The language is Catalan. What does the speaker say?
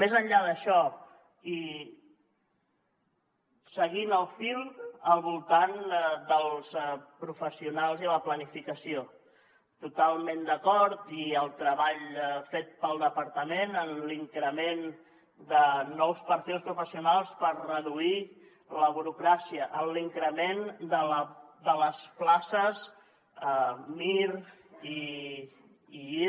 més enllà d’això i seguint el fil al voltant dels professionals i la planificació totalment d’acord i el treball fet pel departament en l’increment de nous perfils professionals per reduir la burocràcia en l’increment de les places mir i iir